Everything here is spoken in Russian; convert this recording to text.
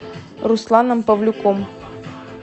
русланом павлюком